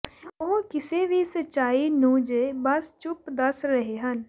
ਉਹ ਕਿਸੇ ਵੀ ਸੱਚਾਈ ਨੂੰ ਜ ਬਸ ਚੁੱਪ ਦੱਸ ਰਹੇ ਹਨ